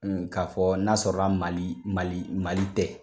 K'a fɔ n'a sɔrɔ mali mali mali tɛ